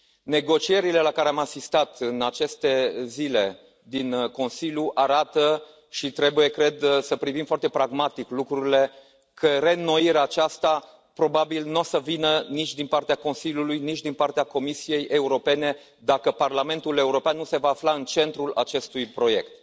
Negocierile la care am asistat în aceste zile din Consiliu arată și trebuie, cred, să privim foarte pragmatic lucrurile că reînnoirea aceasta probabil nu o să vină nici din partea Consiliului, nici din partea Comisiei Europene, dacă Parlamentul European nu se va afla în centrul acestui proiect.